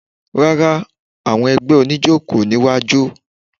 Rárá, àwọn ẹgbẹ́ oníjó kò ní wá jó